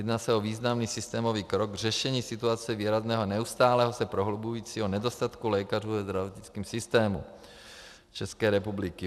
Jedná se o významný systémový krok k řešení situace výrazného a neustále se prohlubujícího nedostatku lékařů ve zdravotnickém systému České republiky.